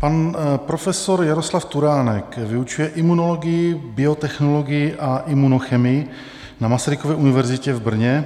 Pan profesor Jaroslav Turánek vyučuje imunologii, biotechnologii a imunochemii na Masarykově univerzitě v Brně